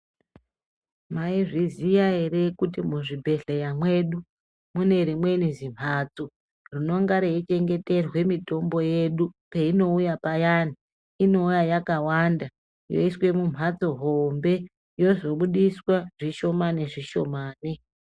Maizviziva here kuti muzvibhedhlera mwedu mune rimweni zvimbatso rinenge richichengeterwa mutombo yedu peinouya payani inouya yakawanda yoiswa mumbatso hombe yozobudiswa zvishoma nezvishoma.